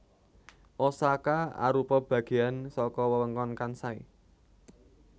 Osaka arupa bagéyan saka wewengkon Kansai